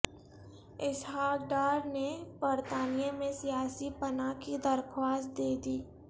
اسحاق ڈار نے برطانیہ میں سیاسی پناہ کی درخواست دے دی